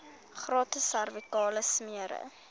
gratis servikale smere